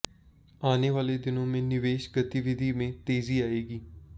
आने वाले दिनों में निवेश गतिविधि में तेजी आएगी